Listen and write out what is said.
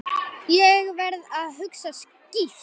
Ég verð að hugsa skýrt.